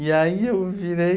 E aí eu virei...